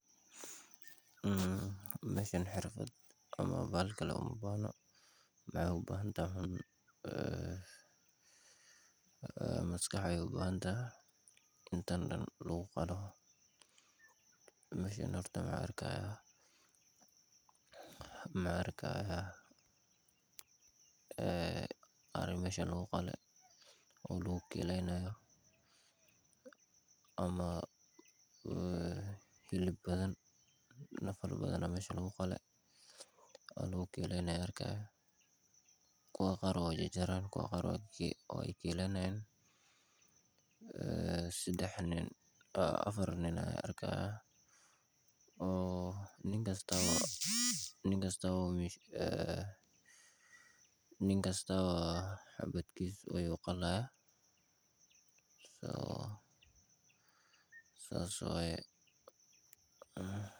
Meeshan xirfad uma baahno waxeey ubahan tahay maskax lee waxaan arki haaya ari meesha lagu qale oo lagu kiileyni haayo nafal badan ayaa meesha lagu qale kuwa qaar waay jarjari haaya afar nini ayaan arki haaya nin kastaba xabadkooda.